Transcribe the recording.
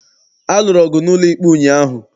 A lụrụ ọgụ n'ụlọikpe ụnyaahụ.